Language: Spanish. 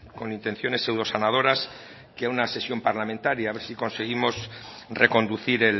con intenciones pseudosanadoras que a una sesión parlamentaria a ver si conseguimos reconducir